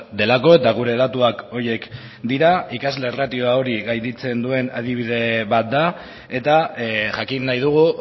delako eta gure datuak horiek dira ikasle ratioa hori gainditzen duen adibide bat da eta jakin nahi dugu